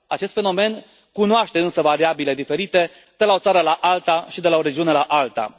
Acest fenomen cunoaște însă variabile diferite de la o țară la alta și de la o regiune la alta.